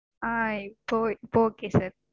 ஆஹ் இப்போ இப்போ okay sir